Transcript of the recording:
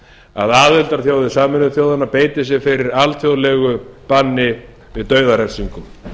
að aðildarþjóðir sameinuðu þjóðanna beiti sér fyrir alþjóðlegu banni við dauðarefsingum